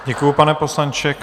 Děkuju, pane poslanče.